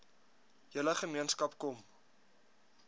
hele gemeenskap kom